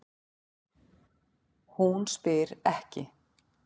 Hún spyr ekki.